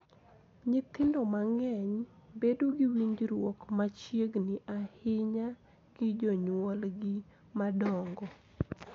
Nyithindo mang�eny bedo gi winjruok machiegni ahinya gi jonyuolgi madongo,